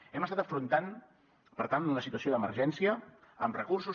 hem estat afrontant per tant una situació d’emergència amb recursos